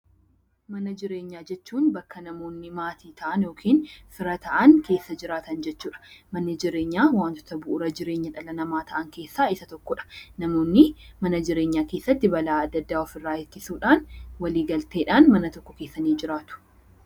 Mana jireenyaa jechuun bakka namoonni maatii ta'an yookiin fira ta'an keessa jiraatan jechuu dha. Manni jireenyaa wantoota bu'uura jireenya dhala namaa ta'an keessaa isa tokko dha. Namoonni mana jireenyaa keessatti balaa adda addaa of irraa ittisuudhaan waliigalteedhaan mana tokko keessa ni jiraatu.